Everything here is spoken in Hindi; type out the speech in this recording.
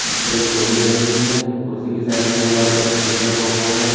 जिस पर एक तौलिया लगी हुई है कुर्सी की साइड में दीवार पर एक स्विच लगा हुआ है।